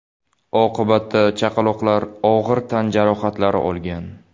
Oqibatda chaqaloqlar og‘ir tan jarohatlari olgan.